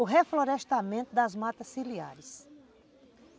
o reflorestamento das matas ciliares.